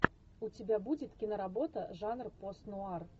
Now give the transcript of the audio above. у тебя будет киноработа жанр пост нуар